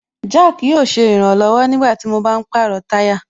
Jack yóò ṣe ìrànlọ̀wọ̀ nígbàtí mo bá ń pàrọ̀ táyà